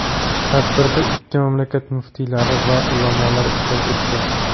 Tadbirda ikki mamlakat muftiylari va ulamolar ishtirok etdi.